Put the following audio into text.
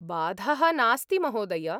बाधः नास्ति महोदय!